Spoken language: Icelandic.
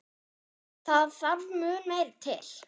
Það þarf mun meira til.